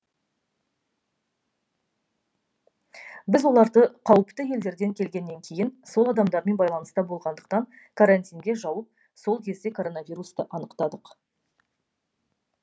біз оларды қауіпті елдерден келгеннен кейін сол адамдармен байланыста болғандықтан карантинге жауып сол кезде коронавирусты анықтадық